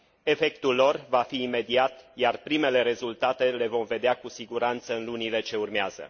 Efectul lor va fi imediat, iar primele rezultate le vom vedea cu siguranță în lunile ce urmează.